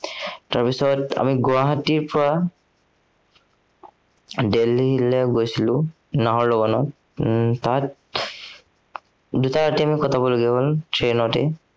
তাৰপিছত আমি গুৱাহাটীৰ পৰা দেলহিলে গৈছিলো উম তাত আমি দুটা ৰাতি কটাবলগা হল train তে